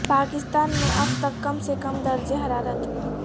پاکستان میں اب تک کم سے کم درجہ حرارت